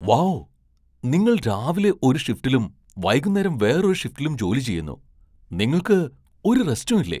Wow! നിങ്ങൾ രാവിലെ ഒരു ഷിഫ്റ്റിലും വൈകുന്നേരം വേറൊരു ഷിഫ്റ്റിലും ജോലി ചെയ്യുന്നു! നിങ്ങൾക്ക് ഒരു റെസ്റ്റും ഇല്ലേ ?